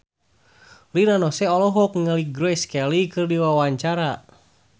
Rina Nose olohok ningali Grace Kelly keur diwawancara